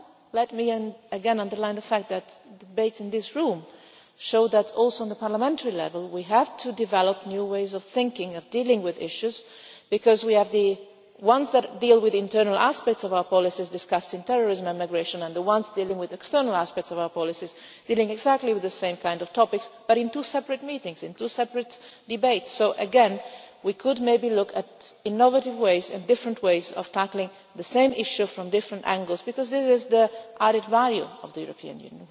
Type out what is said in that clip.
Let me again underline the fact that the debates in this room show that, at parliamentary level too, we have to develop new ways of thinking and dealing with issues, because we have those that deal with internal aspects of our policies discussing terrorism and migration, and those that deal with external aspects of our policies dealing exactly with the same kind of topics, but in two separate meetings and in two separate debates. So again, maybe we could look at innovative ways different ways of tackling the same issue from different angles, because this is the added value of the European Union.